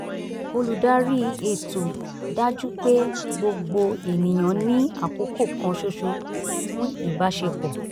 olùdarí ètò dájú pé gbogbo ènìyàn ní àkókò kan ṣoṣo fún ìbáṣepọ̀